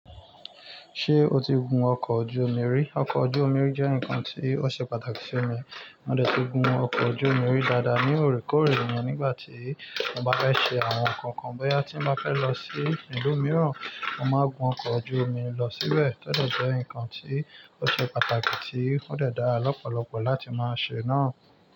Ṣé o ti gun ọkọ̀ ojú omi rí? Ọkọ̀ ojú omi jẹ́ nǹkan tí ó ṣe pàtàkì fún mi. Mo dẹ̀ ti gun ọkọ̀ ojú omi rí dáadáa ni òrèkóòrè yẹn nígbà tí mo bá fẹ́ ṣe àwọn nǹkan kan bóyá tí mo bá fẹ́ lọ sí ìlú mìíràn, mo máa gun ọkọ̀ ojú omi lọ síbẹ̀. Óde jẹ́ ǹkan tí ó ṣe pàtàkì tí ó dẹ̀ dára lọ́pọ̀lọpọ̀ láti máa ṣe náà.